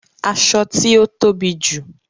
Aṣọ ti o tobi ju